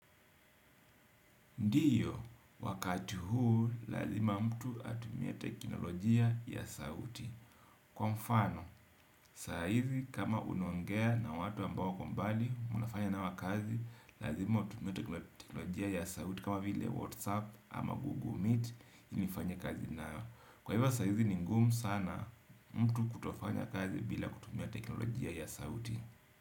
Ndio, wakati huu, lazima mtu atumie teknolojia ya sauti. Kwa mfano, saa hizi kama unuongea na watu ambao wakombali, munafanya nao kazi, lazima utumie teknolojia ya sauti, kama vile WhatsApp ama Google Meet, ilinifanye kazi nayo. Kwa hivyo, saa hizi ni ngumu sana, mtu kutofanya kazi bila kutumia teknolojia ya sauti.